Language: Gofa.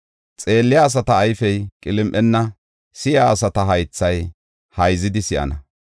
Xeelliya asata ayfey qilim7enna; si7iya asata haythay hayzidi si7ana.